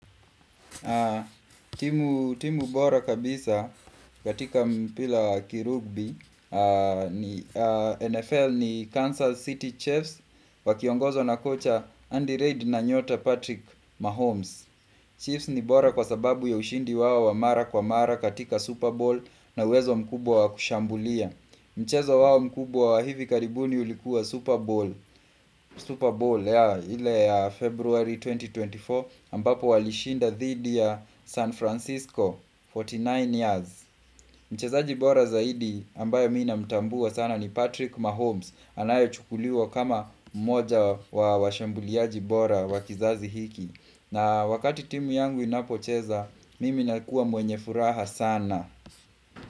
Timu bora kabisa katika mpira wa kirugbi NFL ni Council City Chiefs Wakiongozwa na kocha Andy Reid na nyota Patrick Mahomes Chiefs ni bora kwa sababu ya ushindi wao wa mara kwa mara katika Super Ball na uwezo mkubwa wa kushambulia. Mchezo wao mkubwa wa hivi karibuni ulikuwa Super Ball Super Bowl ile ya February 2024 ambapo walishinda dhidi ya San Francisco 49 years. Mchezaji bora zaidi ambaye mimi namtambua sana ni Patrick Mahomes Anayechukuliwa kama mmoja wa washambuliaji bora wa kizazi hiki na wakati timu yangu inapo cheza mimi nakua mwenye furaha sana.